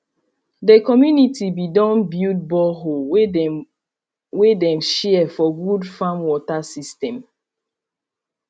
de community be don build bornhole wey dem wey dem share for good farm water system